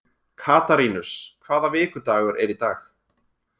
Katarínus, hvaða vikudagur er í dag?